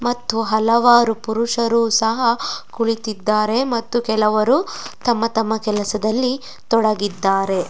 ಮತ್ತು ಹಲವಾರು ಪುರುಷರು ಸಹ ಕುಳಿತಿದ್ದಾರೆ ಮತ್ತೆ ತಮ್ಮ ತಮ್ಮ ಕೆಲಸದಲ್ಲಿ ತೊಡಗಿದ್ದಾರೆ.